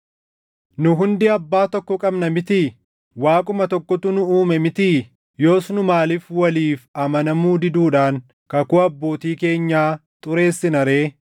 Nu hundi Abbaa tokko qabna mitii? Waaquma tokkotu nu uume mitii? Yoos nu maaliif waliif amanamuu diduudhaan kakuu abbootii keenyaa xureessina ree?